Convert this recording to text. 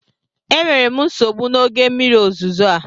Enwere m nsogbu na oge mmiri ozuzo a